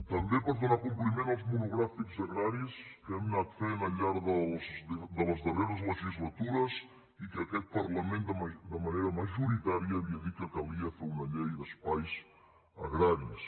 també per donar compliment als monogràfics agraris que hem anat fent al llarg de les darreres legislatures i que aquest parlament de manera majoritària havia dit que calia fer una llei d’espais agraris